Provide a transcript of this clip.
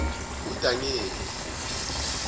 udanyeli